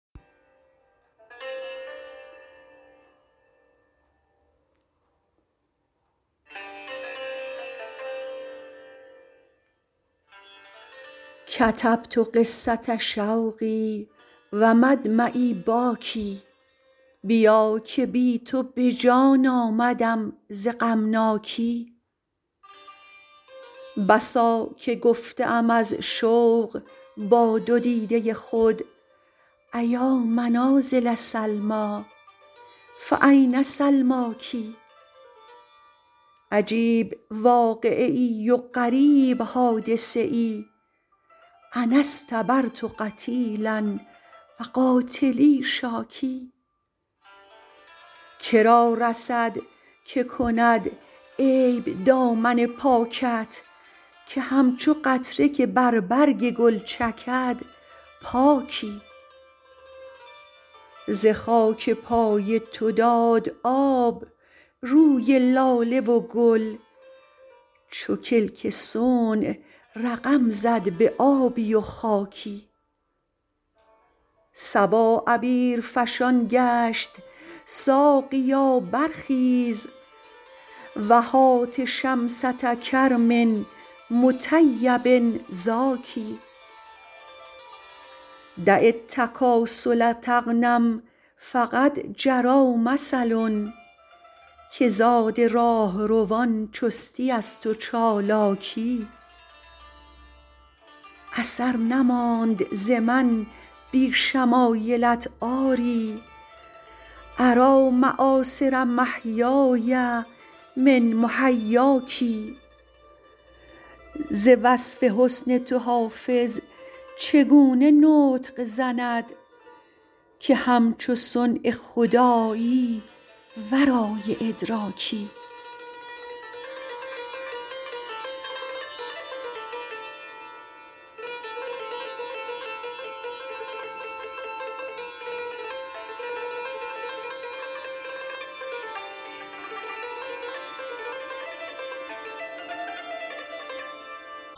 کتبت قصة شوقی و مدمعی باکی بیا که بی تو به جان آمدم ز غمناکی بسا که گفته ام از شوق با دو دیده خود أیا منازل سلمیٰ فأین سلماک عجیب واقعه ای و غریب حادثه ای أنا اصطبرت قتیلا و قاتلی شاکی که را رسد که کند عیب دامن پاکت که همچو قطره که بر برگ گل چکد پاکی ز خاک پای تو داد آب روی لاله و گل چو کلک صنع رقم زد به آبی و خاکی صبا عبیرفشان گشت ساقیا برخیز و هات شمسة کرم مطیب زاکی دع التکاسل تغنم فقد جری مثل که زاد راهروان چستی است و چالاکی اثر نماند ز من بی شمایلت آری أری مآثر محیای من محیاک ز وصف حسن تو حافظ چگونه نطق زند که همچو صنع خدایی ورای ادراکی